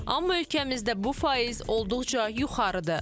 Amma ölkəmizdə bu faiz olduqca yuxarıdır.